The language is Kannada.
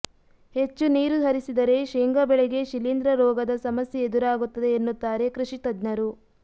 ಹೆಚ್ಚು ನೀರು ಹರಿಸಿದರೆ ಶೇಂಗಾ ಬೆಳೆಗೆ ಶೀಲೀಂಧ್ರ ರೋಗದ ಸಮಸ್ಯೆ ಎದುರಾಗುತ್ತದೆ ಎನ್ನುತ್ತಾರೆ ಕೃಷಿ ತಜ್ಞರು